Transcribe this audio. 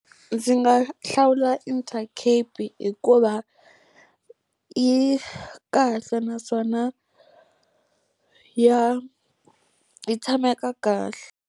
Ndzi nga hlawula Intercape hikuva yi kahle naswona ya yi tshameka kahle